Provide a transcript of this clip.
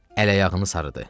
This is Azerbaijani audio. Əl-ayağını sarıdı.